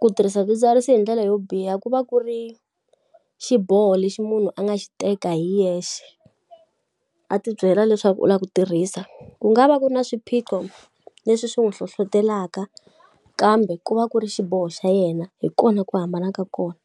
ku tirhisa swidzidziharisi hi ndlela yo biha ku va ku ri xiboho lexi munhu a nga xi teka hi yexe, a ti byela leswaku u lava ku tirhisa. Ku nga va ku ri na swiphiqo leswi swi n'wi hlohletelaka kambe ku va ku ri xiboho xa yena. Hi kona ku hambana ka kona.